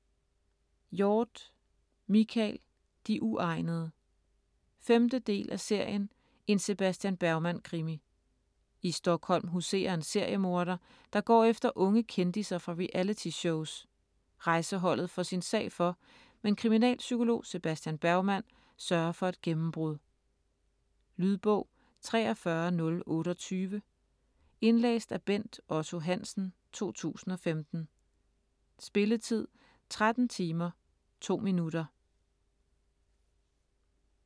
Hjorth, Michael: De uegnede 5. del af serien En Sebastian Bergman krimi. I Stockholm huserer en seriemorder, der går efter unge kendisser fra reality shows. Rejseholdet får sin sag for, men kriminalpsykolog Sebastian Bergman sørger for et gennembrud. Lydbog 43028 Indlæst af Bent Otto Hansen, 2015. Spilletid: 13 timer, 2 minutter.